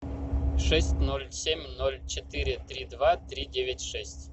шесть ноль семь ноль четыре три два три девять шесть